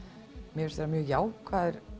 mér finnst vera mjög jákvæður